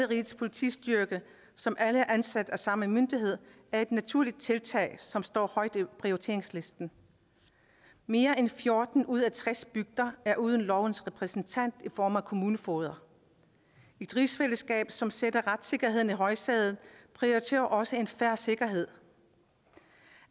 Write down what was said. rigets politistyrke som alle er ansat af samme myndighed er et naturlig tiltag som står højt på prioriteringslisten mere end fjorten ud af tres bygder er uden lovens repræsentant i form af kommunefogeder et rigsfællesskab som sætter retssikkerheden i højsædet prioriterer også en fair sikkerhed